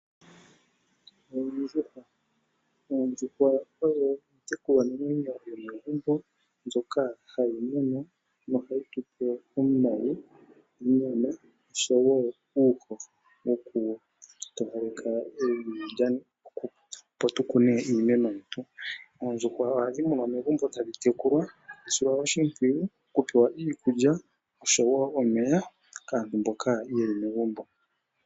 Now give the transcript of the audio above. Oondjuhwa ' Oondjuhwa odho iitekulwanamwenyo yomegumbo mbyoka hayi munwa nohayi tu pe omayi, onyama nosho wo uuhoho wokutowaleka evi, opo tu kune iimeno yetu. Oondjuhwa ohadhi munwa megumbo tadhi tekulwa, tadhi silwa oshimpwiyu, tadhi pewa iikulya osho wo omeya kaantu mboka ye li megumbo.